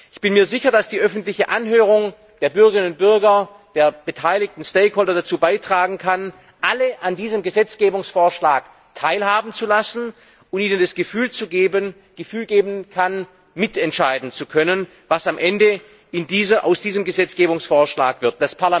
Ich bin mir sicher, dass die öffentliche Anhörung der Bürgerinnen und Bürger, der beteiligten stakeholders dazu beitragen kann, alle an diesem Gesetzgebungsvorschlag teilhaben zu lassen, und ihnen das Gefühl geben kann, mitentscheiden zu können, was am Ende aus diesem Gesetzgebungsvorschlag wird.